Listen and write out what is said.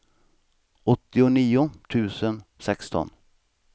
åttionio tusen sexton